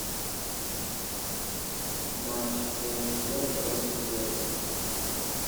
матч уотфорд против челси